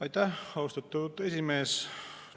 Aitäh, austatud esimees!